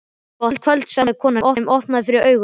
Gott kvöld sagði konan sem opnaði fyrir honum.